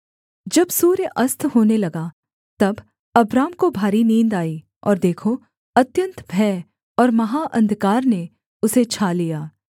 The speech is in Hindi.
जब सूर्य अस्त होने लगा तब अब्राम को भारी नींद आई और देखो अत्यन्त भय और महा अंधकार ने उसे छा लिया